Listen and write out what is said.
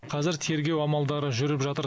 қазір тергеу амалдары жүріп жатыр